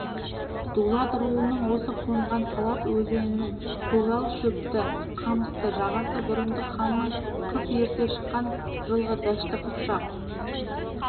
дулат руының осы қонған талас өзенінің көгал шөпті қамысты жағасы бұрындық ханның қыс ерте шыққан жылғы дәшті қыпшақ